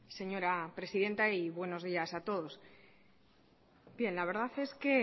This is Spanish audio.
señora presidenta y buenos días a todos bien la verdad es que